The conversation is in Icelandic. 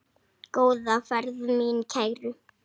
Góða ferð mín kæru.